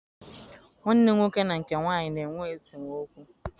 Nwanne m nwoke na nke nwaanyị na-enwe esemokwu.